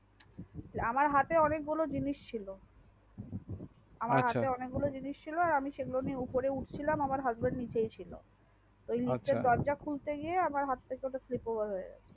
আমার হাতে অনেক গুলো জিনিষ ছিলো আমার হাতে অনেক গুলো জিনিষ ছিলো সেগুলো নিয়ে উপরে উঠছিলাম আমার হাসব্যান্ড নিচেই ছিল ওই লিফ্ট এর দরজা খুলতে গিয়ে আমার হাত থেকে ওটা স্লিপ ওভার হয়ে যাই